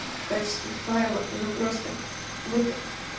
в качестве файла но просто вот